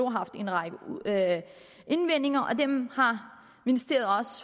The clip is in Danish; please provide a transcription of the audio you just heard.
har haft en række indvendinger og dem har ministeriet